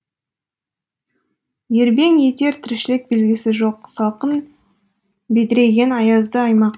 ербең етер тіршілік белгісі жоқ салқын бедірейген аязды аймақ